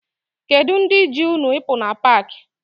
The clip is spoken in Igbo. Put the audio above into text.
Kedu ndị ji unu ịpụ na paakị?